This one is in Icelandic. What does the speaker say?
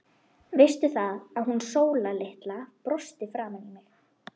Veistu það, að hún Sóla litla brosti framan í mig.